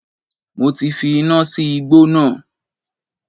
Mo ti fi iná sí igbó náà